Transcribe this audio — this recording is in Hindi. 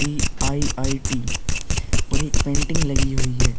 दी आई.आई.टी. और एक पेंटिंग लगी हुई है।